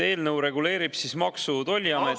Eelnõu reguleerib Maksu- ja Tolliameti …